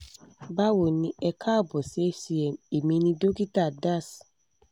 báwo ni e káàbọ̀ sí hcm èmi ni dókítà das